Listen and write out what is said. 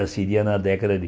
Já seria na década de